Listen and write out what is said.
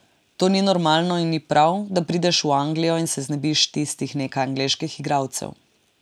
To ni normalno in ni prav, da prideš v Anglijo in se znebiš tistih nekaj angleških igralcev.